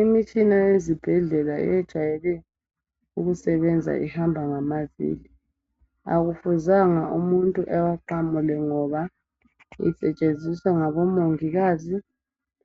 Imitshina yezibhedlela ejayele ukusebenza ihamba ngamavili. Akufuzanga umuntu ewaqamule ngoba isetshenziswa ngabomongikazi